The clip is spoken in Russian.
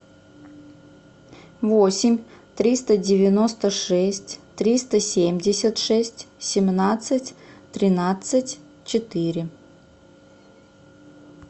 восемь триста девяносто шесть триста семьдесят шесть семнадцать тринадцать четыре